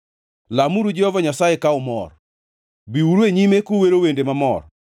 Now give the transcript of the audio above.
Lamuru Jehova Nyasaye ka umor; biuru e nyime kuwero wende mamor.